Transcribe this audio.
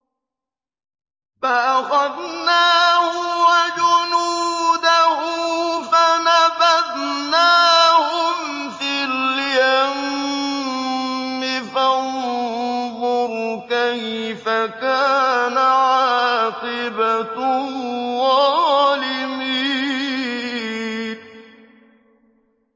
فَأَخَذْنَاهُ وَجُنُودَهُ فَنَبَذْنَاهُمْ فِي الْيَمِّ ۖ فَانظُرْ كَيْفَ كَانَ عَاقِبَةُ الظَّالِمِينَ